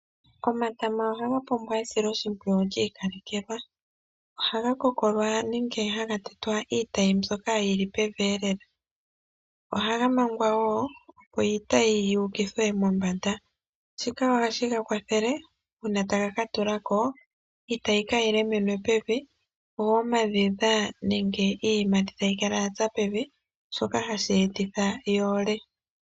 Omatama ohaga pumbwa esiloshimpwiyu lyiikalekelwa, ohaga kokolwa nenge haga tetwa iitayi mbyoka yili pevi elela. Ohaga mangwa wo, opo iitayi yi ukithwe mombanda, shika ohashi ga kwathele uuna taga ka tula ko, iitayi kaayi lemenwe pevi, yo omadhedha nenge iiyimati tayi kala ya tsa pevi , shoka hashi etitha yi ole.